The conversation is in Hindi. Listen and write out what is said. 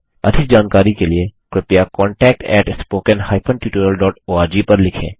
अधिक जानकारी के लिए कृपया contactspoken tutorialorg पर लिखें